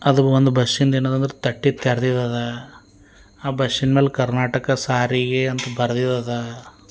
ಅದೊಂದ್ ಬಸ್ಸಿನ ಏನಂದ್ರ ತಟ್ಟಿದ ತೆರೆದಿದ್ದಾದ ಆ ಬಸ್ಸಿನ ಮೇಲೆ ಕರ್ನಾಟಕ ಸಾರಿಗೆ ಅಂತ ಬರ್ದಿದ್ದಾದ.